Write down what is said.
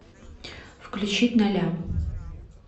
включить ноля